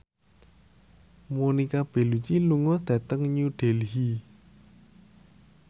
Monica Belluci lunga dhateng New Delhi